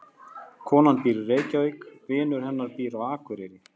Konan býr í Reykjavík. Vinur hennar býr á Akureyri.